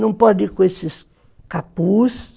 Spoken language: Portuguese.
Não pode ir com esses capuz.